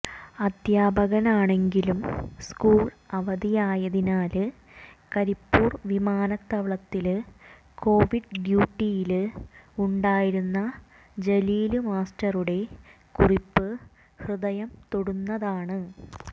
അധ്യാപകനാണെങ്കിലും school അവധിയായതിനാല് കരിപ്പൂര് വിമാനത്താവളത്തില് Covid ഡ്യൂട്ടിയില് ഉണ്ടായിരുന്ന ജലീല് മാസ്റ്ററുടെ കുറിപ്പ് ഹൃദയം തൊടുന്നതാണ്